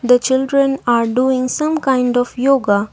the children are doing some kind of yoga.